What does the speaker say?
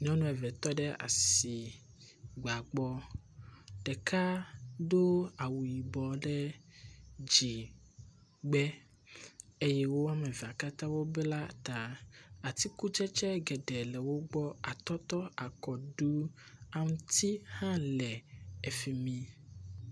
Nyɔnu eve tɔ ɖe asigba gbɔ. Ɖeka do awu yibɔ ɖe dzigbe eye wo ame evea katã wo bla ta. Atikutsetse geɖe le wo gbɔ. Atɔtɔ, akɔɖu, aŋti hã le efi mi.